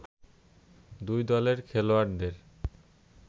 দুই দলের খেলোয়াড়দের